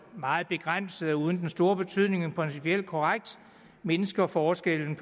og meget begrænset og uden den store betydning men principielt korrekt mindsker forskellen